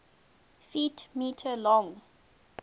ft m long